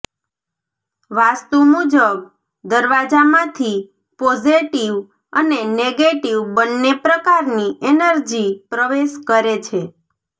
વાસ્તુ મુજબ દરવાજામાંથી પોઝેટિવ અને નેગેટિવ બન્ને પ્રકારની એનર્જી પ્રવેશ કરે છે